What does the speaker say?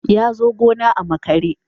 Ya zo gona a makare.